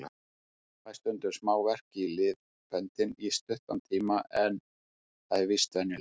Fæ stundum smá verk í liðböndin í stuttan tíma en það er víst venjulegt.